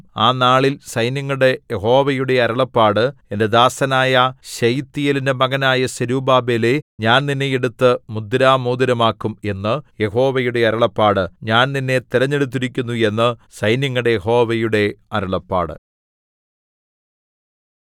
ആ നാളിൽ സൈന്യങ്ങളുടെ യഹോവയുടെ അരുളപ്പാട് എന്റെ ദാസനായ ശെയല്ത്തീയേലിന്റെ മകനായ സെരുബ്ബാബേലേ ഞാൻ നിന്നെ എടുത്ത് മുദ്രമോതിരമാക്കും എന്ന് യഹോവയുടെ അരുളപ്പാട് ഞാൻ നിന്നെ തിരഞ്ഞെടുത്തിരിക്കുന്നു എന്ന് സൈന്യങ്ങളുടെ യഹോവയുടെ അരുളപ്പാട്